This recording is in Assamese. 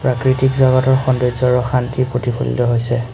প্ৰাকৃতিক জগতৰ সৌন্দৰ্য আৰু শান্তি প্ৰতিফলিত হৈছে।